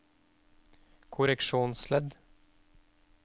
korreksjonsledd